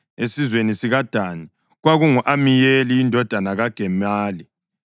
esizweni sikaDani, kwakungu-Amiyeli indodana kaGemali;